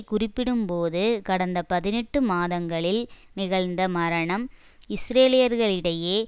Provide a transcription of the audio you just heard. குறிப்பிடும் போது கடந்த பதினெட்டுமாதங்களில் நிகழ்ந்த மரணம் இஸ்ரேலியர்களிடையே